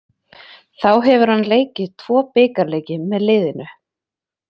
Þá hefur hann leikið tvo bikarleiki með liðinu.